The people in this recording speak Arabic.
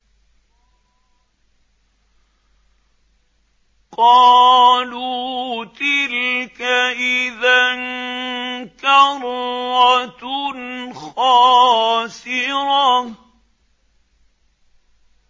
قَالُوا تِلْكَ إِذًا كَرَّةٌ خَاسِرَةٌ